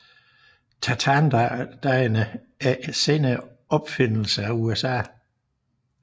Tartandagene er en senere opfindelse fra USA